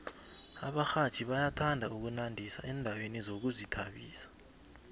abarhatjhi bayathanda ukunandisa endaweni zokuzithabisa